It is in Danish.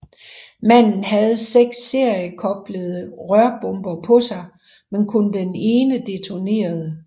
Manden havde seks seriekoblede rørbomber på sig men kun den ene detonerede